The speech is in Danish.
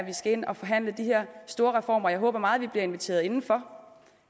skal ind og forhandle de her store reformer jeg håber meget at vi bliver inviteret indenfor